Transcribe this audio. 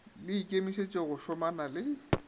le ikemišetše go šomana le